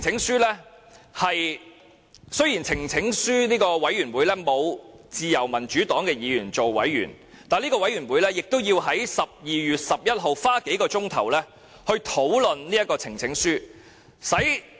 雖然呈請書委員會內沒有自由民主黨的議員擔任委員，但該委員會也要在12月11日花數小時討論這項呈請書。